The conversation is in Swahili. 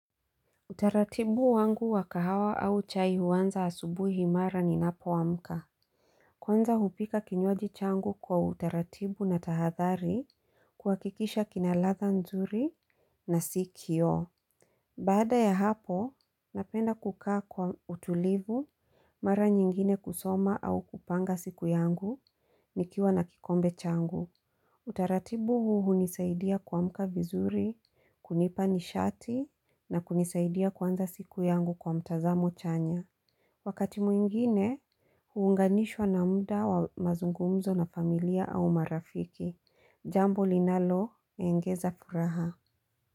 Utaratibu wangu wakahawa au chai huaanza asubuhi mara ninapo amka. Kwanza hupika kinywaji changu kwa utaratibu na tahadhari kuhakikisha kina ladha nzuri na si kioo Baada ya hapo, napenda kukaa kwa utulivu, mara nyingine kusoma au kupanga siku yangu, nikiwa na kikombe changu. Utaratibu huu hunisaidia kwa kuamka vizuri, kunipa nishati na kunisaidia kwanza siku yangu kwa mtazamo chanya. Wakati mwingine, huunganishwa na muda wa mazungumzo na familia au marafiki. Jambo linalo, engeza furaha.